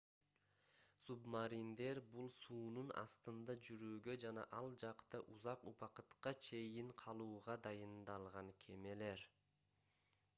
субмариндер бул суунун астында жүрүүгө жана ал жакта узак убакытка чейин калууга дайындалган кемелер